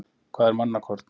Hvað er mannakorn?